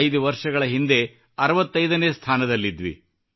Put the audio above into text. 5 ವರ್ಷಗಳ ಹಿಂದೆ ಇದು 65 ನೇ ಸ್ಥಾನದಲ್ಲಿತ್ತು